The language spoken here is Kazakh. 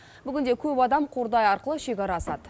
бүгінде көп адам қордай арқылы шекара асады